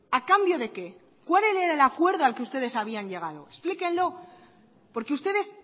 a cambio de qué cuál era el acuerdo al que ustedes habían llegado explíquenlo porque ustedes